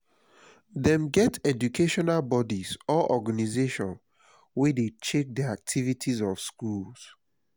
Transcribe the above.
dem get educational bodies or organization wey de check the activities of schools